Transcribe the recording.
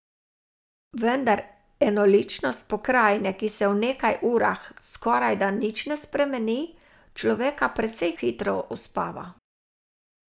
Vendar enoličnost pokrajine, ki se v nekaj urah skorajda nič ne spremeni, človeka precej hitro uspava.